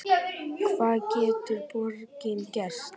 Hvað getur borgin gert?